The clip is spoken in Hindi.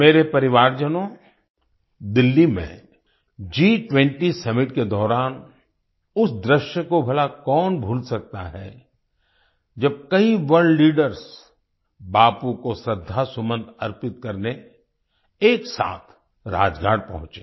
मेरे परिवारजनों दिल्ली में G20 सम्मित के दौरान उस दृश्य को भला कौन भूल सकता है जब कई वर्ल्ड लीडर्स बापू को श्रद्धासुमन अर्पित करने एक साथ राजघाट पहुंचे